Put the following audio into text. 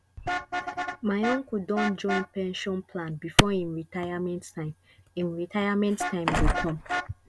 my uncle don join pension plan before him retirement time him retirement time go come